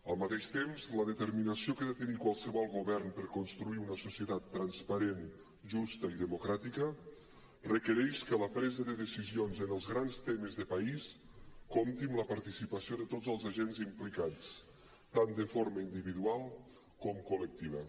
al mateix temps la determinació que ha de tenir qualsevol govern per construir una societat transparent justa i democràtica requereix que la presa de decisions en els grans temes de país compti amb la participació de tots els agents implicats tant de forma individual com col·lectiva